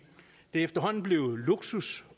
det er efterhånden blevet luksus